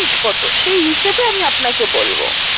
কত? সেই হিসেবে আমি আপনাকে বলব